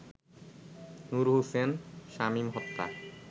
নূর হোসেন শামীম হত্যা